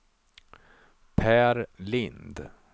Per Lindh